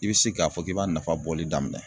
I be se k'a fɔ k'i b'a nafa bɔli daminɛ